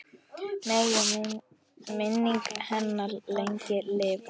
Megi minning hennar lengi lifa.